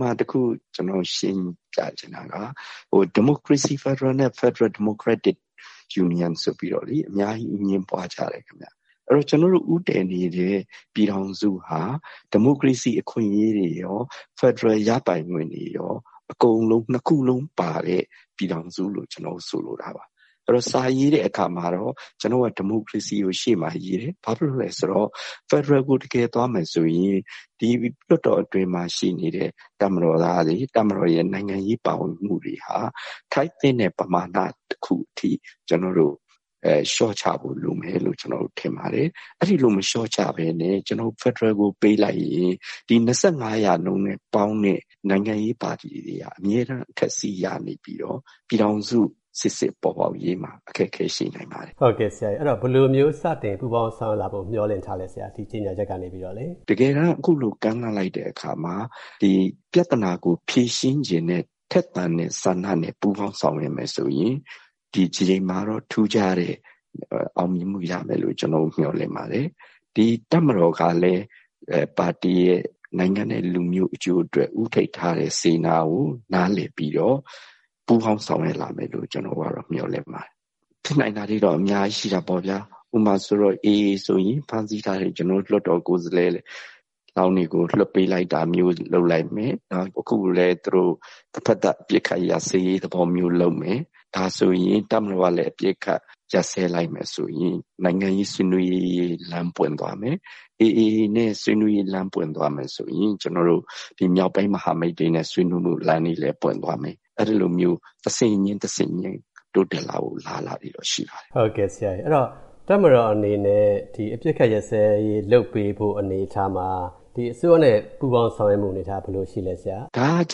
မှာ တခု ကျနော်ရှင်းပြချင်တာက ဒီမိုကရေစီ ဖက်ဒရယ်နဲ့ ဖယ်ဒရယ် ဒီမိုကရက်တစ် ယူနီယန်ဆိုပြီးတော့လေ အများကြီး အငြင်းပွားကြတယ်ခင်ဗျ။ ဆိုတော့ ကျနော်တို့ ဦးတည်နေတဲ့ ပြည်ထောင်စုဟာ ဒီမိုကရေစီအခွင့်အရေးတွေရော၊ ဖက်ဒရယ်ရပိုင်ခွင့်တွေရော အကုန်လုံး နှစ်ခုလုံးပါတဲ့ ပြည်ထောင်စုလို့ ကျနော်တို့ ဆိုလိုတာပါ။ အဲဒီတော့ စာရေးတဲ့အခါမှာတော့ ကျနော်တို့က ဒီမိုကရေစီကို အရှေ့မှာရေးတယ်။ ဘာဖြစ်လို့လည်းဆိုတော့ ဖက်ဒရယ်ကို တကယ်သွားမယ်ဆိုရင် ဒီ လွှတ်တော်အတွင်းမှာ ရှိနေတဲ့ တပ်မတော်သားတွေ၊ တပ်မတော်ရဲ့ နိုင်ငံရေး ပါဝင်မှုတွေဟာ ထိုက်သင့်တဲ့ ပမာဏ တခုအထိ ကျနော်တို့ လျှော့ချဖို့လိုမယ်လို့ ထင်ပါတယ်။ အဲဒီလို မလျှော့ချဘဲနဲ့ကျနော်တို့ ဖက်ဒရယ်ကို ပေးလိုက်ရင် ဒီ ၂၅ % နဲ့ ပေါင်းတဲ့ နိုင်ငံရေးပါတီတွေဟာ အမြဲတမ်း အထက်စီး ရနေပြီးတော့ ပြည်ထောင်စု စစ်စစ်ပေါ်ပေါက်ရေးမှာ အခက်အခဲရှိနိုင်ပါတယ်။ ဟုတ်ကဲ့၊ ဆိုတော့ ဘယ်လိုမျိုး စတင်ပူးပေါင်း ဆောင်ရွက်လာဖို့ မျှော်လင့်ထားလဲဆရာ NLD ဘက်ကနေပြီးတော့လေ။ တကယ်တမ်း အခုလို ကမ်းလှမ်းလိုက်တဲ့အခါမှာ ပြဿနာကို ဖြေရှင်းချင်တဲ့ ထက်သန်တဲ့ ဆန္ဒနဲ့ ပူးပေါင်းဆောင်ရွက်မယ်ဆိုရင် ဒီတကြိမ်မှာတော့ ထူးခြားတဲ့ အောင်မြင်မှုရမယ်လို့ ကျနော်တို့ မျှော်လင့်ပါတယ်။ ဒီတပ်မတော်ကလည်း ပါတီရယ်၊ နိုင်ငံနဲ့ လူမျိုး အကျိုးအတွက် ဦးထိပ်ထားတဲ့ စေတနာကို နားလည်ပြီးတော့ ပူးပေါင်းဆောင်ရွက်လာမယ်လို့ ကျနော်တို့ကတော့ မျှော်လင့်ပါတယ်။ ဖြစ်နိုင်တာတွေတော့ အများကြီးရှိနိုင်တာပေါ့ဗျာ။ ဥပမာ AA ဆိုရင် ဖမ်းဆီးထားတဲ့ ကျနော်တို့ လွှတ်တော်ကိုယ်စားလှယ်လောင်းတွေကို လွှတ်ပေးလိုက်တာမျိုး လုပ်လိုက်မယ်၊ နောက် သူတို့ တဘက်သတ် အပစ်အခတ်ရပ်စဲရေး လုပ်မယ်၊ ဒါဆိုရင် တပ်မတော်ကလည်း အပစ်အခတ် ရပ်စဲလိုက်မယ်ဆိုရင် နိုင်ငံရေး ဆွေးနွေးရေး လမ်းပွင့်သွားမယ်။ AA နဲ့ ဆွေးနွေးရေး လမ်းပွင့်သွားမယ်ဆိုရင် မြောက်ပိုင်း မဟာမိတ်တွေနဲ့ ဆွေးနွေးမှုလမ်းတွေလည်း ပွင့်သွားမယ်။ အဲဒီလိုမျိုး တဆင့်ချင်း၊ တဆင့်ချင်း တိုးတက်လာဖို့ အလားအလာတွေတော့ ရှိပါတယ်။ ဟုတ်ကဲ့။ တပ်မတော်အနေနဲ့ အပစ်အခတ် ရပ်စဲရေးလုပ်ပေးဖို့ အနေအထားမှာ ဒီအစိုးရနဲ့ ပူးပေါင်း ဆောင်ရွက်မှုအနေအထား ဘယ်လိုရှိလဲဆရာ။ ဒါက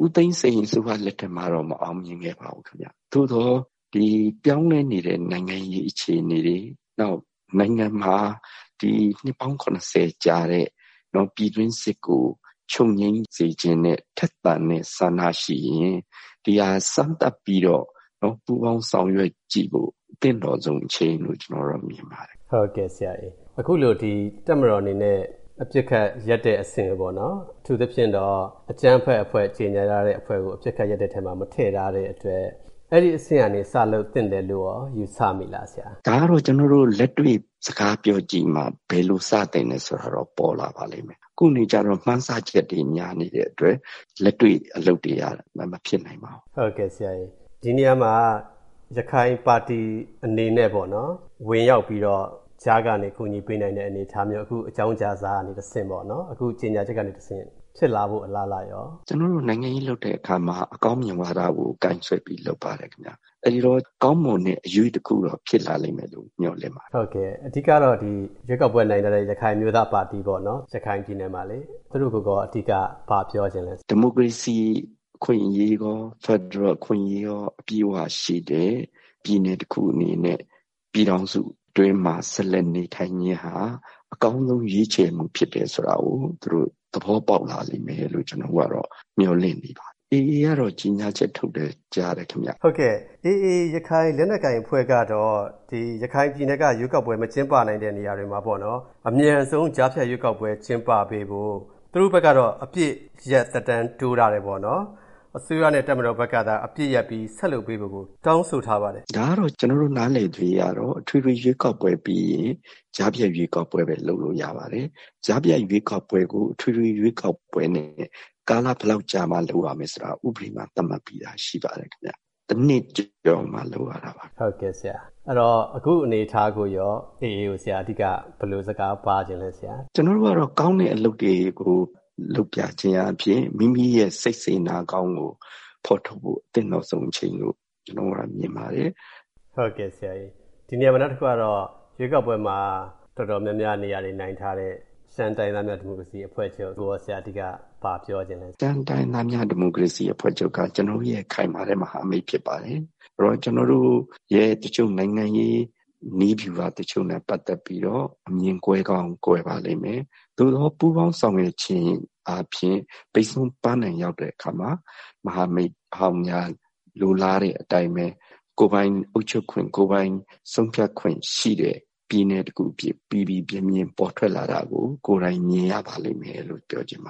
ဦးသိန်းစိန်အစိုးရ လက်ထက်မှာတောင် မအောင်မြင်ခဲ့ပါဘူး ခင်ဗျ။ သို့သော် ပြောင်းလဲနေတဲ့ နိုင်ငံရေး အခြေအနေတွေ နောက် နိုင်ငံမှာ ဒီ နှစ်ပေါင်း ၇၀ ကြာတဲ့ ပြည်တွင်းစစ်ကို ချုပ်ငြိမ်းစေချင်တဲ့ ထက်သန်တဲ့ဆန္ဒရှိရင် ဒီဟာ စမ်းသပ်ပြီးတော့ ပူးပေါင်းဆောင်ရွက်ကြည့်ဖို့ သင့်တော်ဆုံး အချိန်လို့ ကျနော်ကတော့ မြင်ပါတယ်။ ဟုတ်ကဲ့၊ အခုလို တပ်မတော်အနေနဲ့ အပစ်အခတ်ရပ်တဲ့အဆင့် အထူးသဖြင့်တော့ အကြမ်းဖက်အဖွဲ့ ကြေငြာထားတဲ့အဖွဲ့ကို အပစ်အခတ်ရပ်တဲ့အထဲမှာ မထည့်ထားတဲ့အတွက် အဲဒီအဆင့်ကနေ စလုပ်သင့်တယ်လို့ရော ယူဆမိလားဆရာ။ ဒါကတော့ ကျနော်တို့ လက်တွေ့ စကားပြောကြည့်မှ ဘယ်လို စသင့်တယ်ဆိုတာကတော့ ပေါ်လာပါလိမ့်မယ်။ ခုနေကျတော့ မှန်းဆချက်တွေ များနေတဲ့အတွက် လက်တွေ့အလုပ်တွေက မဖြစ်နိုင်ပါဘူး။ ဒီနေရာမှာ ရခိုင်ပါတီအနေနဲ့ပေါ့နော်... ဝင်ရောက်ပြီးတော့ ကြားကနေ ကူညီပေးနိုင်တဲ့ အနေအထားမျိုး အခုအကြောင်းကြားစာကနေတဆင့်ပေါ့နော်... အခုကြေငြာချက်ကနေတဆင့် ဖြစ်လာဖို့ အလားအလာရော။ ကျနော်တို့ နိုင်ငံရေးလုပ်တဲ့အခါမှာ အကောင်းမြင်ဝါဒကို ကိုင်ဆွဲပြီး လုပ်ပါတယ်ခင်ဗျ။ အဲဒီတော့ ကောင်းမွန်တဲ့ အရွေ့တခုတော့ ဖြစ်လာလိမ့်မယ်လို့ မျှော်လင့်ပါတယ်။ အဓိကတော့ ရွေးကောက်ပွဲနိုင်ထားတဲ့ ရခိုင်အမျိုးသားပါတီပေါ့နော်... ရခိုင်ပြည်နယ်မှာလေ သူတို့ကိုရော အဓိက ဘာပြောချင်လဲ။ ဒီမိုကရေစီအခွင့်အရေးရော၊ ဖက်ဒရယ်အခွင့်အရေးရော အပြည့်အဝရှိတဲ့ ပြည်နယ်တခုအနေနဲ့ ပြည်ထောင်စုအတွင်းမှာ ဆက်လက်နေထိုင်ခြင်းဟာ အကောင်းဆုံး ရွေးချယ်မှုဖြစ်တယ်ဆိုတာကို သူတို့ သဘောပေါက်လာလိမ့်မယ်လို့ ကျနော်တို့ကတော့ မျှော်လင့်နေပါတယ်။ AA ကတော့ ကြေငြာချက်ထုတ်တယ် ကြားတယ်ခင်ဗျ။ ဟုတ်ကဲ့။ AA ရခိုင် လက်နက်ကိုင်အဖွဲ့ကတော့ ရခိုင်ပြည်နယ်က ရွေးကောက်ပွဲ မကျင်းပနိုင်တဲ့ နေရာတွေမှာ အမြန်ဆုံး ကြားဖြတ်ရွေးကောက်ပွဲ ကျင်းပပေးဖို့ သူတို့ဘက်ကတော့ အပစ်ရပ်သက်တမ်းတိုးထားတယ်ပေါ့နော်။ အစိုးရနဲ့ တပ်မတော်ဘက်ကသာ အပစ်ရပ်ပြီး ဆက်လုပ်ပေးဖို့ကို တောင်းဆိုထားပါတယ်ခင်ဗျ။ ဒါကတော့ ကျနော်တို့ နားလည်သရွေ့ကတော့ အထွေထွေရွေးကောက်ပွဲပြီးရင် ကြားဖြတ်ရွေးကောက်ပွဲပဲ လုပ်လို့ရပါတယ်။ ကြားဖြတ်ရွေးကောက်ပွဲကို အထွေထွေရွေးကောက်ပွဲနဲ့ ကာလဘယ်လောက်ကြာမှ လုပ်ရမယ်ဆိုတာ ဥပဒေမှာ သတ်မှတ်ပြီးသားရှိပါတယ် ခင်ဗျ။ တနှစ်ကျော်မှ လုပ်ရတာပါ။ ဟုတ်ကဲ့ဆရာ။ အခုအနေအထားကိုရော AA ကို အဓိက ဘယ်လိုစကားပါးချင်လဲ ဆရာ။ ကျနော်တို့ကတော့ ကောင်းတဲ့အလုပ်တွေကို လုပ်ပြခြင်းအားဖြင့် မိမိရဲ့ စိတ်စေတနာကောင်းကို ဖော်ထုတ်ဖို့ သင့်တော်ဆုံးအချိန်လို့ ကျနော်တို့ကတော့ မြင်ပါတယ်။ ဒီနေရာမှာ နောက်တခုကတော့ ရွေးကောက်ပွဲမှာ တော်တော်များများ နေရာတွေနိုင်ထားတဲ့ ရှမ်းတိုင်းရင်းသားများ ဒီမိုကရေစီအဖွဲ့ချုပ်ကိုရော... ဆရာ အဓိက ဘာပြောချင်လဲ ခင်ဗျ။ ရှမ်းတိုင်းရင်းသားများ ဒီမိုကရေစီအဖွဲ့ချုပ်က ကျနော်တို့ရဲ့ ခိုင်မာတဲ့ မဟာမိတ်ဖြစ်ပါတယ်။ ကျနော်တို့ရဲ့ တချို့ နိုင်ငံရေးနည်းဗျူဟာတချို့နဲ့ ပတ်သက်ပြီးတော့ အမြင်ကွဲကောင်းကွဲပါလိမ့်မယ်။ သို့သော် ပူးပေါင်းဆောင်ရွက်ခြင်းအားဖြင့် ပန်းတိုင်ရောက်တဲ့အခါမှာ မဟာမိတ်ဟောင်းများ လိုလားတဲ့အတိုင်းပဲ ကိုယ်ပိုင်အုပ်ချုပ်ခွင့်၊ ကိုယ်ပိုင်ဆုံးဖြတ်ခွင့်ရှိတဲ့ ပြည်နယ်တခု အဖြစ် ပီပီပြင်ပြင် ပေါ်ထွက်လာတာကို ကိုယ်တိုင်မြင်ရပါလိမ့်မယ်လို့ ပြောချင်ပါ